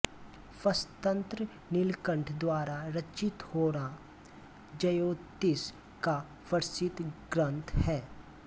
प्रश्नतंत्र नीलकण्ठ द्वारा रचित होरा जयोतिष का प्रसिद्ध ग्रंथ है